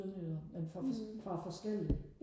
sønderjyder men fra fra forskellige